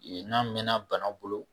Yen n'a mɛɛnna bana bolo